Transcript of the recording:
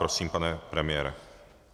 Prosím, pane premiére.